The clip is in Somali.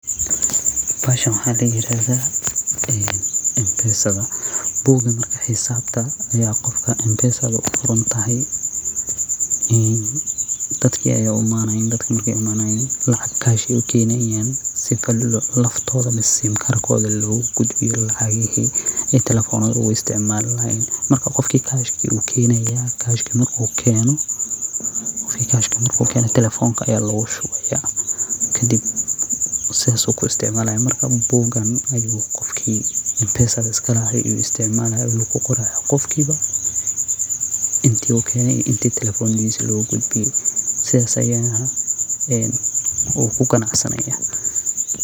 Bahashan waxa la yirahda ee mpesada buugan xisabta aya qofkan mpesadu kuqorantahay in dadka aya u imaanayi dadka markay uu imanayiin lacagtas ayay ukeenayan si laftooda ama sim karkoda lugu gudbiyo lacagihi ee taleefonaha ku isticmaali lahayeen marki qofkii cash uu ukeeniya, cash markuu keno taleefonka aya logu shubaya kadib sidas ayu ku isticmaalaya marka buugan ayu qofki mpesada iska lahay yu isticmaalaya una kuqoraya, qofkiba intuu uu kene iyo intu taleefonadis logu gudbiye, sidas ayana uu kuganacsanaya